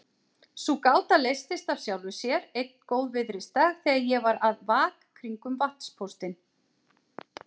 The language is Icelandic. Sú gáta leystist af sjálfu sér einn góðviðrisdag þegar ég var að vak kringum vatnspóstinn.